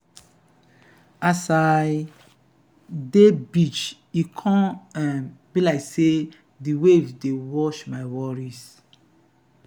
as i dey beach e come um be like sey di waves dey wash my worries.